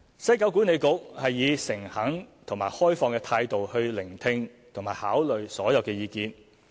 西九管理局以誠懇及開放的態度聆聽及考慮所有意見。